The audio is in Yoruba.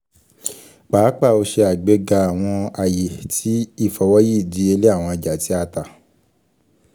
paapaa o ṣe agbega awọn aye ti ifọwọyi idiyele awọn ọja ti a ta